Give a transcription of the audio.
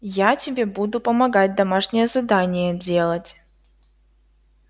я тебе буду помогать домашнее задание делать